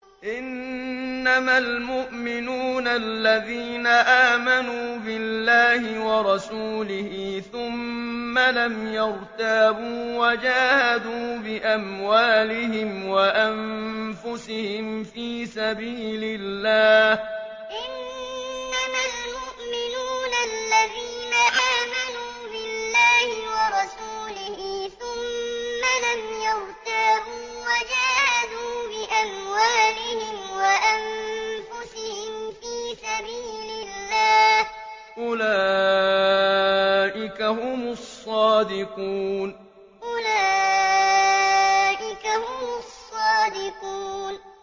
إِنَّمَا الْمُؤْمِنُونَ الَّذِينَ آمَنُوا بِاللَّهِ وَرَسُولِهِ ثُمَّ لَمْ يَرْتَابُوا وَجَاهَدُوا بِأَمْوَالِهِمْ وَأَنفُسِهِمْ فِي سَبِيلِ اللَّهِ ۚ أُولَٰئِكَ هُمُ الصَّادِقُونَ إِنَّمَا الْمُؤْمِنُونَ الَّذِينَ آمَنُوا بِاللَّهِ وَرَسُولِهِ ثُمَّ لَمْ يَرْتَابُوا وَجَاهَدُوا بِأَمْوَالِهِمْ وَأَنفُسِهِمْ فِي سَبِيلِ اللَّهِ ۚ أُولَٰئِكَ هُمُ الصَّادِقُونَ